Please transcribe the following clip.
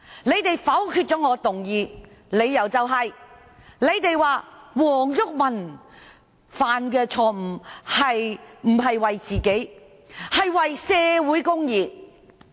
他們否決了我的議案，理由是黃毓民犯下錯誤，但不是為自己而是為社會公義。